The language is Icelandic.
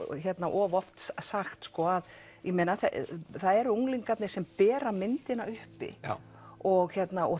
of oft sagt það eru unglingarnir sem bera myndina uppi og